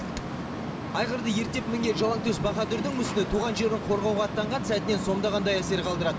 айғырды ерттеп мінген жалаңтөс баһадүрдің мүсіні туған жерін қорғауға аттанған сәтінен сомдағандай әсер қалдырады